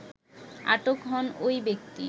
আটক হন ঐ ব্যক্তি